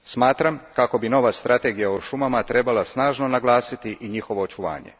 Smatram kako bi nova strategija o šumama trebala snažno naglasiti i njihovo očuvanje.